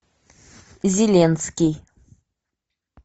зеленский